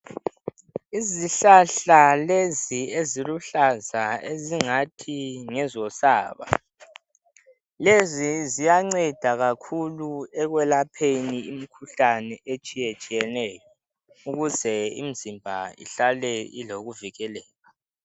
Izihlahla lezi eziluhlaza ezingathi lusaba, lezi ziyanceda kakhulu ekwelapheni imikhuhlane etshiyayatshiyaneyo ukuze imizimba ihlale ilokuvikeleka